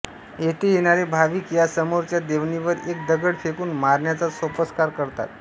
येथे येणारे भाविक या समोरच्या देवणीवर एक दगड फेकून मारण्याचा सोपस्कार करतात